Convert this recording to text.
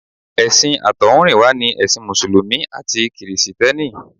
Ẹ̀sìn àtọ̀húnrìnwá ni ẹ̀sìn mùsùlùmí àti kìrìsìtẹ́nì.